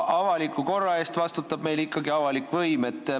Avaliku korra eest vastutab meil ikkagi avalik võim.